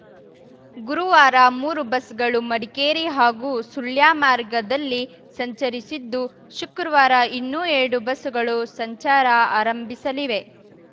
ಗುರುವಾರ ಮೂರು ಬಸ್‌ಗಳು ಮಡಿಕೇರಿ ಹಾಗೂ ಸುಳ್ಯ ಮಾರ್ಗದಲ್ಲಿ ಸಂಚರಿಸಿದ್ದು ಶುಕ್ರವಾರ ಇನ್ನು ಎರಡು ಬಸ್‌ಗಳು ಸಂಚಾರ ಆರಂಭಿಸಲಿವೆ